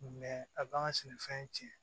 a b'an ka sɛnɛfɛn tiɲɛ